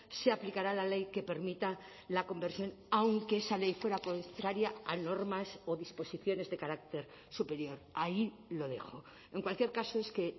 se aplicará la ley que permita la conversión aunque esa ley fuera contraria a normas o disposiciones de carácter superior ahí lo dejo en cualquier caso es que